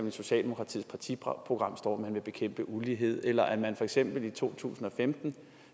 i socialdemokratiets partiprogram står at man vil bekæmpe ulighed eller med at man for eksempel i to tusind og femten